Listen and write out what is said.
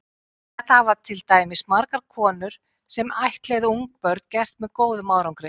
Þetta hafa til dæmis margar konur sem ættleiða ungbörn gert með góðum árangri.